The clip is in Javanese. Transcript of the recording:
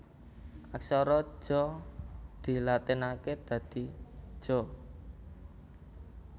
Aksara Ja dilatinaké dadi Ja